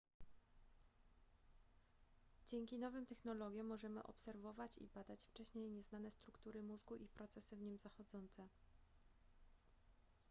dzięki nowym technologiom możemy obserwować i badać wcześniej nieznane struktury mózgu i procesy w nim zachodzące